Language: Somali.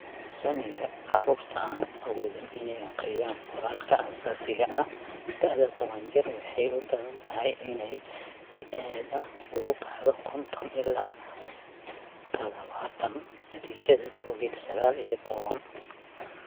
Saamiga carruurta aan awoodin inay akhriyaan qoraalka aasaasiga ah da'da toban jir waxay u badan tahay inay si aad ah uga kacdo konton ilaa tadhawaatan natiijada Covid sagaal iyo tobbaan.